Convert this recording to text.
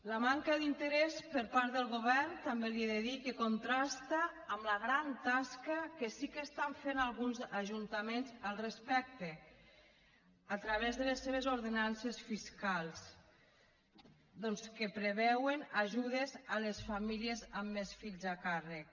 la manca d’interès per part del govern també li he de dir que contrasta amb la gran tasca que sí que estan fent alguns ajuntaments al respecte a través de les seves ordenances fiscals doncs que preveuen ajudes a les famílies amb més fills a càrrec